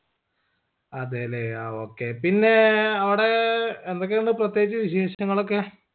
അതേലേ ആ okay പിന്നേ അവിടേ യെന്തൊക്കെയുണ്ട് പ്രത്യേകിച്ച് വിശേഷങ്ങളൊക്കെ